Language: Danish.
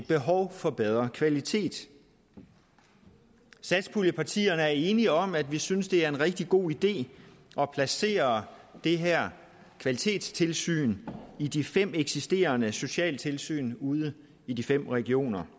behov for bedre kvalitet satspuljepartierne er enige om at vi synes det er en rigtig god idé at placere det her kvalitetstilsyn i de fem eksisterende socialtilsyn ude i de fem regioner